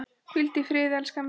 Hvíldu í friði, elskan mín.